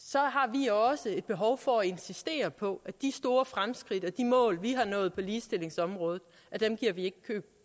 vi også et behov for at insistere på at de store fremskridt og de mål vi har nået på ligestillingsområdet giver vi ikke køb